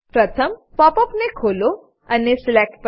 પ્રથમ pop up ને ખોલો અને સિલેક્ટ